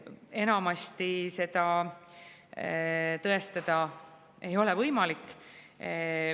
Enamasti seda tõestada ei ole võimalik.